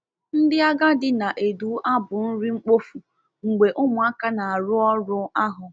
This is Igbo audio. Ndi Agadi na-edu abụ nri mkpofu mgbe ụmụaka na-arụ ọrụ ahụ.